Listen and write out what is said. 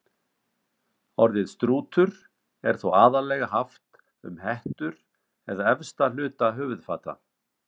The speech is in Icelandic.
Orðið strútur er þó aðallega haft um hettur eða efsta hluta höfuðfata.